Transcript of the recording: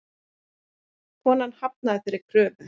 Konan hafnaði þeirri kröfu.